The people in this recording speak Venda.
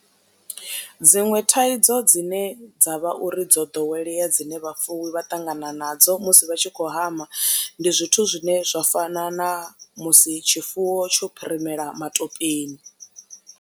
Dziṅwe thaidzo dzine dza vha uri dzo ḓowelea dzine vhafuwi vha ṱangana nadzo musi vha tshi khou hama, ndi zwithu zwine zwa fana na musi tshifuwo tsho phirimela matopeni.